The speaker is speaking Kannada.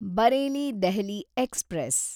ಬರೇಲಿ ದೆಹಲಿ ಎಕ್ಸ್‌ಪ್ರೆಸ್